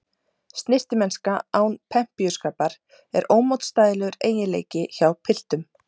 Snyrtimennska án pempíuskapar er ómótstæðilegur eiginleiki hjá piltum.